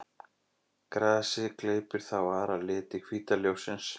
Grasið gleypir þá aðra liti hvíta ljóssins.